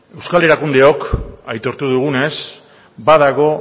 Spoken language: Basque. euskal erakundeok aitortu dugunez badago